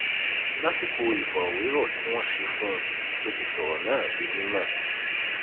lásìkò ìfọrọwérọ tí wọn ṣe fún un ló ti sọrọ náà di mímọ